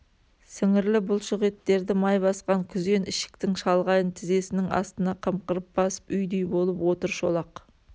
сіңірлі бұлшық еттерді май басқан күзен ішіктің шалғайын тізесінің астына қымқырып басып үйдей болып отыр шолақ